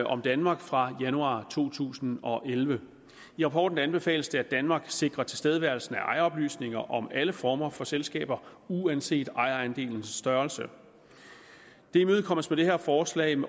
om danmark fra januar to tusind og elleve i rapporten anbefales det at danmark sikrer tilstedeværelsen af ejeroplysninger om alle former for selskaber uanset ejerandelens størrelse det imødekommes med det her forslag